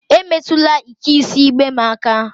Emetụla ike isi igbe m aka!